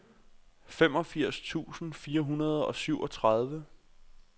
femogfirs tusind fire hundrede og syvogtredive